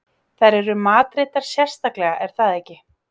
Þær eru matreiddar sérstaklega er það ekki?